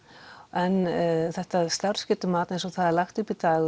en þetta starfsgetumat eins og það er lagt upp í dag